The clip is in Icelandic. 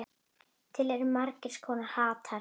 Til eru margs konar hattar.